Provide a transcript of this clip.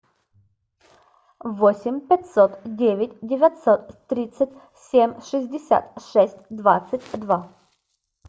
восемь пятьсот девять девятьсот тридцать семь шестьдесят шесть двадцать два